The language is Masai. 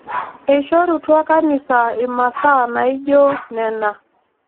Eishorutua kanisa imasaa naijoo nena